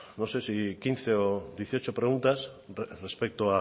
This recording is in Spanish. no sé si quince o dieciocho preguntas respecto